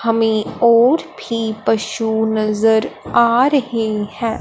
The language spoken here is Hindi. हमें और भी पशु नज़र आ रहें हैं।